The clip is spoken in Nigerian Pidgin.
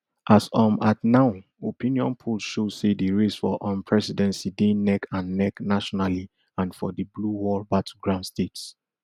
as um at now opinion polls show say di race for um presidency dey neckand neck nationally and for di blue wall battleground states